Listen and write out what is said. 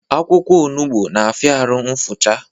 Akwụkwọ onugbu na-afia arụ nfucha